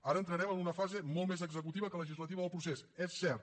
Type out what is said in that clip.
ara entrarem en una fase molt més executiva que legislativa del procés és cert